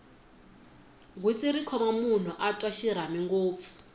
gwitsi ri khoma loko munhu a twa xirhami ngopfu